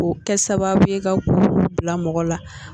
O kɛ sababuye ka kurukuru bila mɔgɔ la.